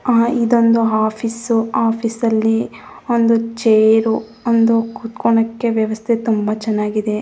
ಆ ಇದೊಂದು office office ಅಲ್ಲಿ ಒಂದು ಚೇರ್ ಒಂದು ಕೂತುಕೊಣಕ್ಕೆ ವ್ಯವಸ್ಥೆ ತುಂಬಾ ಚನ್ನಾಗಿದೆ .